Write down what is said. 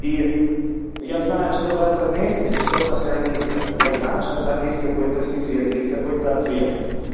и я знаю что в этом месте что-то хранится я знаю что там есть какой-то секрет есть какой-то ответ